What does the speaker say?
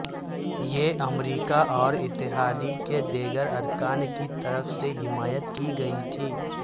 یہ امریکہ اور اتحاد کے دیگر ارکان کی طرف سے حمایت کی گئی تھی